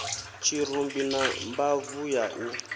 tshirumbi na mbabvu ya u